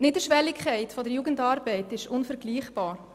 Die Niederschwelligkeit der Jugendarbeit ist unvergleichbar.